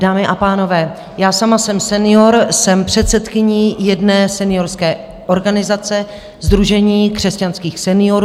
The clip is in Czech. Dámy a pánové, já sama jsem senior, jsem předsedkyní jedné seniorské organizace - Sdružení křesťanských seniorů.